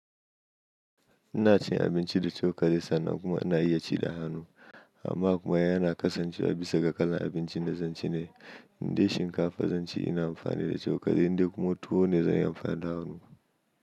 Ina cin abinci da cokali sannan kuma ina iya ci da hannu. Amma kuma yana kasancewa bisa ga kalan abincin da zan ci ne. Inde shinkafa zan ci ina amfani da cokali inde kuma tuwo ne zan yi amfani da hannu.